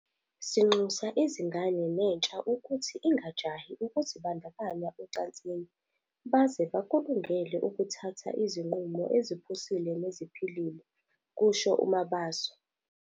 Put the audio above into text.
"Sinxusa izingane nentsha ukuthi ingajahi ukuzibandakanya ocansini baze bakulungele ukuthatha izinqumo eziphusile neziphilile," kusho uMabaso.